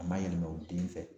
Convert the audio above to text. A ma yɛlɛma u den fɛ.